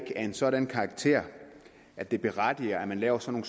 en sådan karakter at den berettiger at man laver sådan